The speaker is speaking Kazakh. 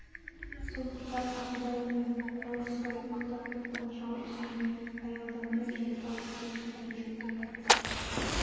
сондықтан ағыбай мен наурызбай ұйықтап жатқан жау үстіне аялдамай жайпап өте шығуды жөн деп тапқан